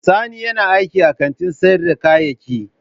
Sani yana aiki a kantin sayar da kayayyaki.